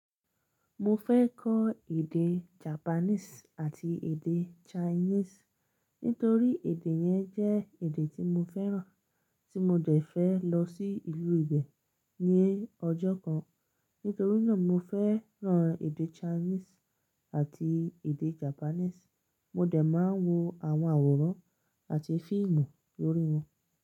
Mo fẹ́ kọ́ èdè Japanese àti èdè Chinese nítorí èdè yẹn jẹ́ èdè tí mo fẹ́ràn tí mo dẹ̀ fẹ́ lọ sí ìlú ibẹ̀ ní ọjọ́ kan. Nítorí náà mo fẹ́ràn èdè Chinese àti èdè Japanese. Mo dẹ̀ máa ń wo àwọn àwòrán àti fíìmù lórí wọn.